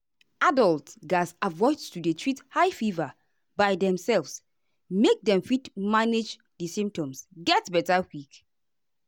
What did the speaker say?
adults gatz avoid to dey treat high fever by demself make dem fit manage di symptoms get beta quick.